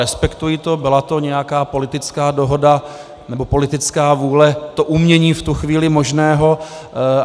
Respektuji to, byla to nějaká politická dohoda nebo politická vůle, to umění v tu chvíli možného.